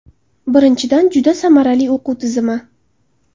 Birinchidan, juda samarali o‘quv tizimi.